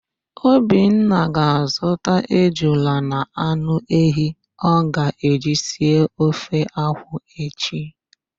Obinna ga-azụta ejula na anụ ehi ọ ga-eji si ofe akwụ echi.